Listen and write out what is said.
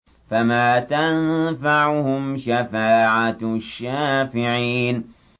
فَمَا تَنفَعُهُمْ شَفَاعَةُ الشَّافِعِينَ